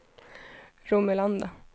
Romelanda